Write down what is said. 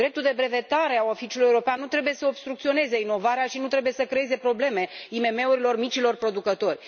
Dreptul de brevetare al Oficiului European nu trebuie să obstrucționeze inovarea și nu trebuie să creeze probleme IMM urilor, micilor producători.